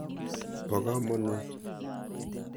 Po kamonut.